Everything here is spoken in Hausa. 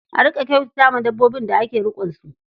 A riƙa kyautata wa dabbobin da ake riƙonsu.